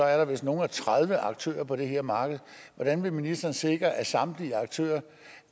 er der vist nogle og tredive aktører på det her marked hvordan vil ministeren sikre at samtlige